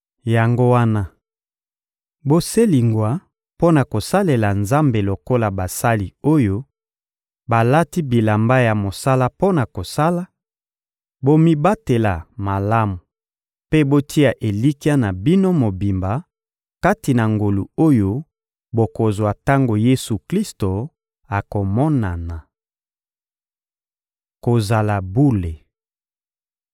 Yango wana, boselingwa mpo na kosalela Nzambe lokola basali oyo balati bilamba ya mosala mpo na kosala; bomibatela malamu mpe botia elikya na bino mobimba kati na ngolu oyo bokozwa tango Yesu-Klisto akomonana. Kozala bule